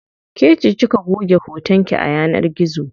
Kece kika goge hoton ki a yanar gizo.